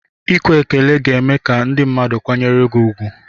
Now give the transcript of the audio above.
Ekwe ekele ga eme ka ndị mmadụ kwanyere gị ugwu.